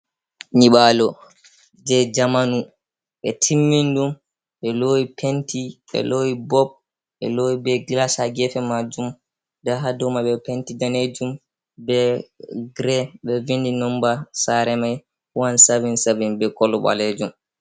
Nyibalo je zamanu be timmini ɗum ɓe lowi penti, ɓe lowi bob, ɓe lowi be glas ha gefe majum. Nda ha dou man be penti danejum, be gre. Ɓe vindi nomba sare mai 177 be kolo ɓalejum.